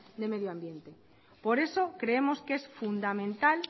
de medio ambiente por eso creemos que es fundamental